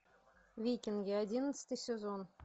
викинги одиннадцатый сезон